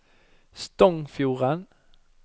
Stongfjorden